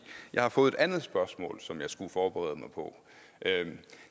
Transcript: jeg har fået et andet spørgsmål som jeg skulle forberede mig på